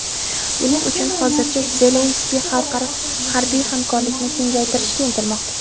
Buning uchun hozirda Zelenskiy xalqaro harbiy hamkorlikni kengaytirishga intilmoqda.